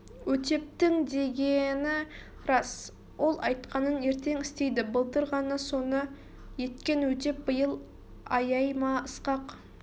өтептің дегені рас ол айтқанын ертең істейді былтыр ғана соны еткен өтеп биыл аяй ма ысқақ